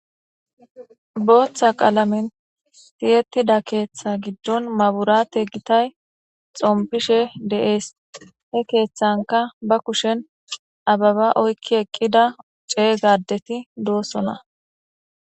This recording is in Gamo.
Booththa qalamen tiyetuda keeththa giddon maburate gitayi xomipishe deyesi he kethanika ba kusheni ababa oyik eqida cegga adeti dossona..